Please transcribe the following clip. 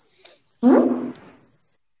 হম?